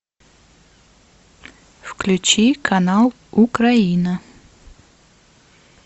включи канал украина